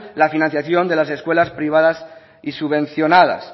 la financiación de las escuelas privadas y subvencionadas